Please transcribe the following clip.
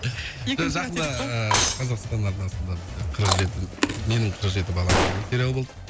жақында ыыы қазақстан арнасында бізде қырық жеті менің қырық жеті балам деген сериал болды